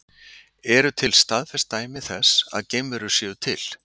Eru til staðfest dæmi þess að geimverur séu til?